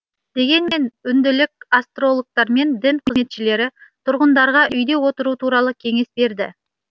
дегенмен үнділік астрологтар мен дін қызметшілері тұрғындарға үйде отыру туралы кеңес берді